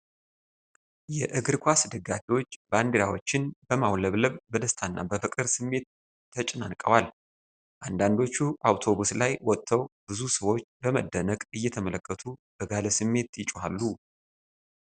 የእግር ኳስ ደጋፊዎች ባንዲራዎችን በማውለብለብ በደስታና በፍቅር ስሜት ተጨናንቀዋል። አንዳንዶቹ አውቶቡስ ላይ ወጥተው፣ ብዙ ሰዎች በመደነቅ እየተመለከቱ በጋለ ስሜት ይጮኻሉ።